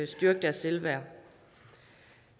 styrket deres selvværd